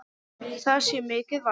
Það sé mikið vald.